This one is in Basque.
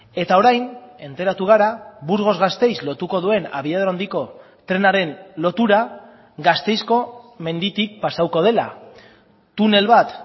eta orain enteratu gara burgos gasteiz lotuko duen abiadura handiko trenaren lotura gasteizko menditik pasatuko dela tunel bat